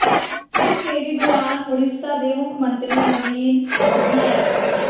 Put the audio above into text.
ਇਸ ਫੇਰੀ ਦੌਰਾਨ ਉੜੀਸਾ ਦੇ ਮੁੱਖ ਮੰਤਰੀ ਨਵੀਨ ਪਟਨਾਇਕ